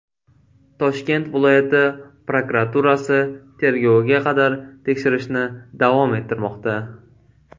Toshkent viloyati prokuraturasi tergovga qadar tekshirishni davom ettirmoqda.